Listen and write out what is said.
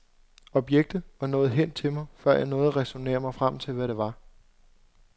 Objektet var nået hen til mig, før jeg nåede at ræsonnere mig frem til hvad det var.